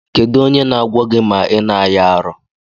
Kedụ onye na agwọ gi ma ina aya arụ?